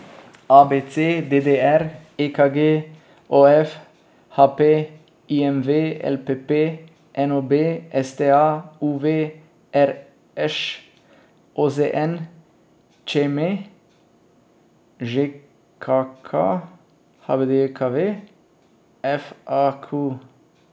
A B C; D D R; E K G; O F; H P; I M V; L P P; N O B; S T A; U V; R Š; O Z N; Č M; Ž K K; H B D J K V; F A Q.